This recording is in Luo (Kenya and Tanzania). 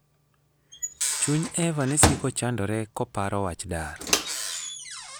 Chuny Eva ne siko chandore koparo wach dar.